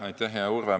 Aitäh, hea Urve!